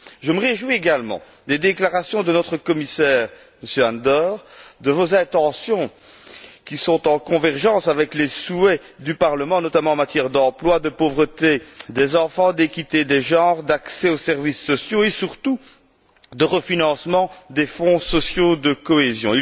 Je me réjouis également des déclarations et des intentions de notre commissaire Andor, qui sont en convergence avec les souhaits du Parlement, notamment en matière d'emploi, de pauvreté des enfants, d'équité des genre, d'accès aux services sociaux et surtout de refinancement des fonds sociaux de cohésion.